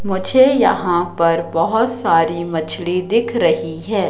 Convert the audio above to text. मुझे यहां पर बहुत सारी मछली दिख रही है।